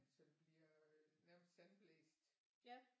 Så det bliver nærmest sandblæst